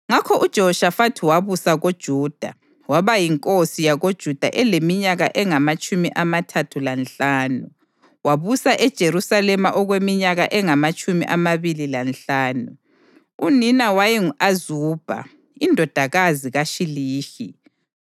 Ngakho uJehoshafathi wabusa koJuda. Waba yinkosi yakoJuda eleminyaka engamatshumi amathathu lanhlanu, wabusa eJerusalema okweminyaka engamatshumi amabili lanhlanu. Unina wayengu-Azubha indodakazi kaShilihi.